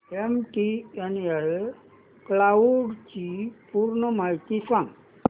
MTNL cloud ची पूर्ण माहिती सांग